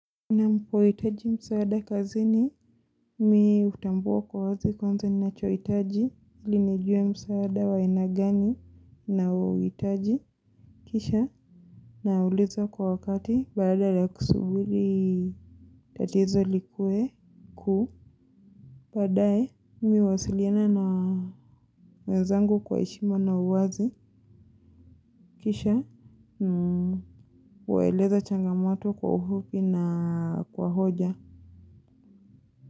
Napohitaji msaada kazini, mi hutambua kwa wazi kwanza ninachohitaji ili nijue msaada wa aina gani ninaouhitaji kisha nauliza kwa wakati badala ya kusubili tatizo likue kuu. Baadae, mi huwasiliana na wenzangu kwa heshima na uwazi kisha huwaeleza changamoto kwa ufupi na kwa hoja.